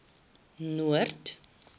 noord